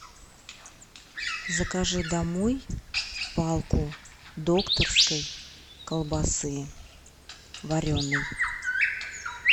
закажи домой палку докторской колбасы вареной